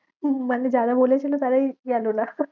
উম মানে যারা বলেছিলো তারাই গেলো না।